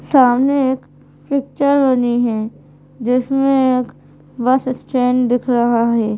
सामने एक पिक्चर बनी है जिसमें एक बस स्टैंड दिख रहा है।